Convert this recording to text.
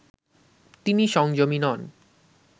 তিনি সংযমী নন